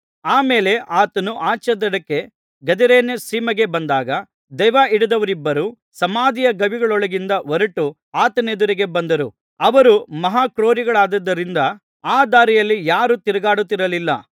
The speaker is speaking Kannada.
ಆಮೇಲೆ ಆತನು ಆಚೇದಡಕ್ಕೆ ಗದರೇನರ ಸೀಮೆಗೆ ಬಂದಾಗ ದೆವ್ವಹಿಡಿದವರಿಬ್ಬರು ಸಮಾಧಿಯ ಗವಿಗಳೊಳಗಿಂದ ಹೊರಟು ಆತನೆದುರಿಗೆ ಬಂದರು ಅವರು ಮಹಾಕ್ರೂರಿಗಳಾಗಿದ್ದುದರಿಂದ ಆ ದಾರಿಯಲ್ಲಿ ಯಾರೂ ತಿರುಗಾಡುತ್ತಿರಲಿಲ್ಲ